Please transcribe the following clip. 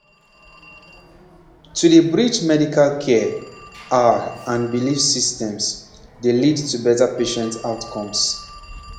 pause to dey bridge medical care ah and belief systems dey lead to better patient outcomes